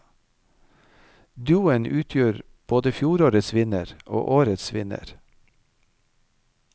Duoen utgjør både fjorårets vinner og årets vinner.